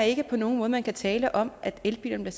ikke på nogen måde man kan tale om at elbilerne